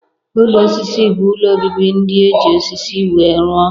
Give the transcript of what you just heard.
Ụlọ osisi bụ ụlọ obibi ndị e ji osisi wee rụọ.